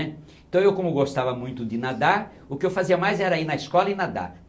Então eu como gostava muito de nadar, o que eu fazia mais era ir na escola e nadar.